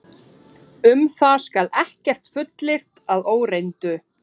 Um það skal ekkert fullyrt að óreyndu.